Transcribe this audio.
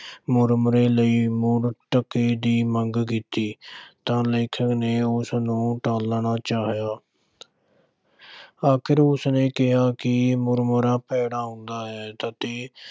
ਮੁਰਮੁਰੇ ਲਈ ਮੁੜ ਟਕੇ ਦੀ ਮੰਗ ਕੀਤੀ ਤਾਂ ਲੇਖਕ ਨੇ ਉਸ ਨੂੰ ਟਾਲਣਾ ਚਾਹਿਆ ਅਖੀਰ ਉਸ ਨੇ ਕਿਹਾ ਕਿ ਮੁਰਮੁਰਾ ਭੈੜਾ ਹੁੰਦਾ ਹੈ ਅਤੇ